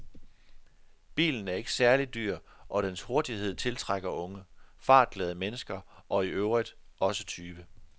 Bilen er ikke særlig dyr, og dens hurtighed tiltrækker unge, fartglade mennesker og i øvrigt også tyve.